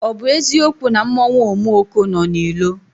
Ọ bụ eziokwu na mmanwụ Omuoko nọ na ilo?